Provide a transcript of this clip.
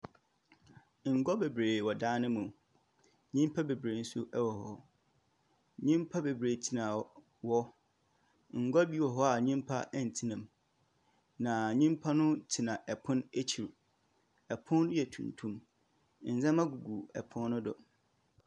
Ngua beberee wɔ dan no mu. Nyimpa beberee nso wɔ hɔ. Nyimpa beberee tsena hɔ hɔ. Ngua bi wɔ hɔ a nyimpa ntsena mu, na nyimpa no tsena pon ekyir. Pon yi yɛ tuntum. Ndzɛmba gugu pon no do.